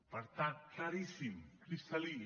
per tant claríssim cristal·lí